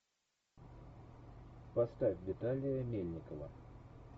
поставь виталия мельникова